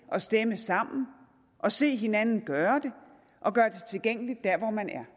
at stemme sammen og se hinanden gøre det og gøre det tilgængeligt der hvor man er